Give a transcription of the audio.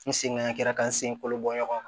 N sengara ka n sen kolo bɔ ɲɔgɔn na